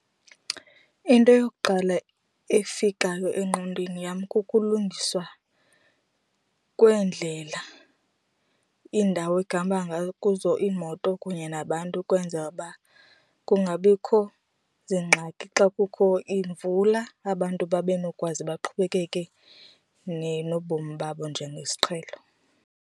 Into yokuqala efikayo engqondweni yam kukulungiswa kweendlela, iindawo ekuhamba kuzo iimoto kunye nabantu ukwenzela uba kungabikho ziingxaki xa kukho iimvula abantu babe nokwazi baqhubekeke nobomi babo njengesiqhelo.